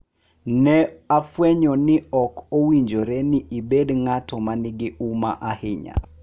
Ne afwenyo ni ok owinjore ni ibed ng’at ma nigi huma ahinya